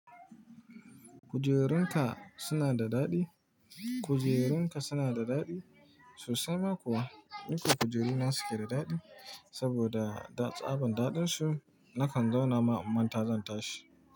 Kujerun ka suna da daɗi? Kujerun ka suna da daɗi? Sosai ma kuwa. Nace kujeruna suke da daɗi. Saboda tsaban daɗin su, nakan zauna ma inmanta zan tashi.